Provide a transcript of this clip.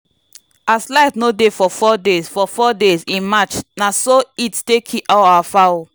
as light no dey for 4 dey for 4 days in march na so heat take kill all our fowl.